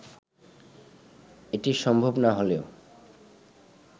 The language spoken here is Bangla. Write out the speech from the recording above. এটা সম্ভব না হলেও